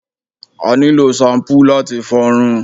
A nílò ṣampú láti fọrun